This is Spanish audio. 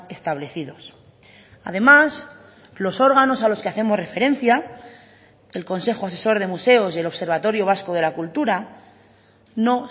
establecidos además los órganos a los que hacemos referencia el consejo asesor de museos y el observatorio vasco de la cultura no